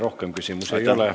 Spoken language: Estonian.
Rohkem küsimusi ei ole.